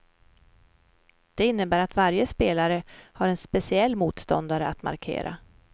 Det innebär att varje spelare har en speciell motståndare att markera.